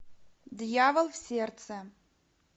дьявол в сердце